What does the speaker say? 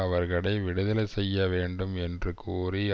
அவர்களை விடுதலை செய்ய வேண்டும் என்று கோரி